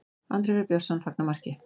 Andri Freyr Björnsson fagnar marki.